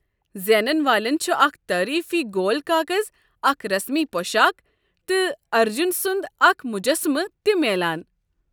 زینن والٮ۪ن چھ اکھ تعریفی گول كاكز، اکھ رسمی پۄشاک، تہٕ ارجن سنٛد اكھ مُجسمہٕ تہِ میلان۔